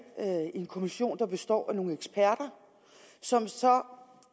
en kommission der består af nogle eksperter som så